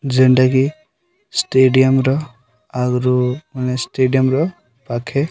ଯେଣ୍ଟା କି ଷ୍ଟେଡିୟମ୍ ର ଆଗରୁ ମାନେ ଷ୍ଟେଡିୟମ୍ ର ପାଖେ --